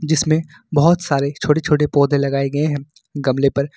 इसमें बहुत सारे छोटे छोटे पौधे लगाए गए हैं गमले पर।